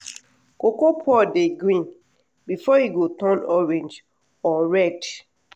cocoa pod dey green before e go turn orange or red.